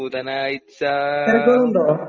ബുധനാഴ്ച